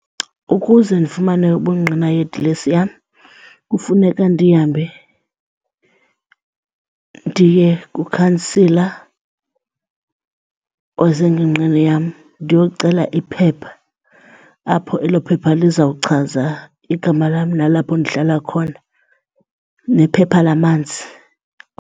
Ukuze ndifumane ubungqina yedilesi yam kufuneka ndihambe ndiye kukhansila osengingqini yam ndiyocela iphepha apho elo phepha lizawuchaza igama lam nalapho ndihlala khona, nephepha lamanzi.